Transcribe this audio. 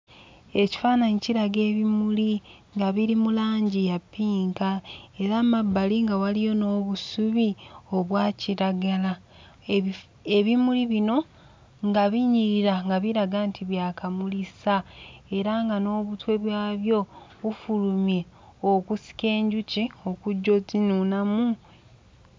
Ekifaananyi kiraga ebimuli nga biri mu langi ya ppinka era mmabbali nga waliyo n'obusubi obwa kiragala ebifu ebimuli bino nga binyirira nga biraga nti byakamulisa era nga n'obutwe byabyo bufulumye okusika enjuki okujja ozzinuunamu.